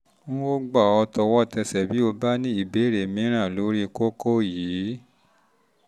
n ó gbà ọ́ tọwọ́tẹsẹ̀ bí o bá ní ìbéèrè mìíràn lórí kókó yìí